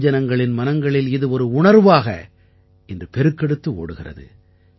வெகுஜனங்களின் மனங்களில் இது ஒரு உணர்வாக இன்று பெருக்கெடுத்து ஓடுகிறது